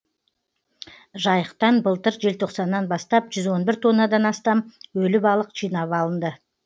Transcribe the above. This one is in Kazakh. жайықтан былтыр желтоқсаннан бастап жүз он бір тоннадан астам өлі балық жинап алынды